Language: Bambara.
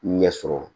Ɲɛsɔrɔ